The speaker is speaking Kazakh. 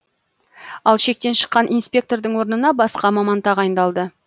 ал шектен шыққан инспектордың орнына басқа маман тағайындалды